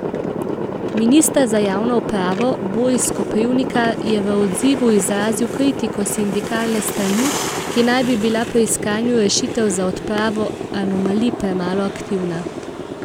Minister za javno upravo Boris Koprivnikar je v odzivu izrazil kritiko sindikalne strani, ki naj bi bila pri iskanju rešitev za odpravo anomalij premalo aktivna.